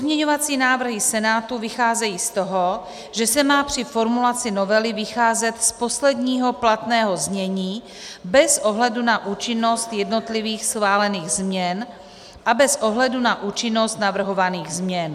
Pozměňovací návrhy Senátu vycházejí z toho, že se má při formulaci novely vycházet z posledního platného znění bez ohledu na účinnost jednotlivých schválených změn a bez ohledu na účinnost navrhovaných změn.